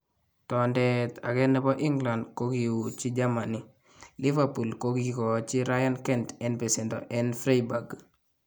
Tondeet akee nebo England kokiuuuchi Germany, Liverpool kokikoochi Ryan Kent en besendoo en Freiburg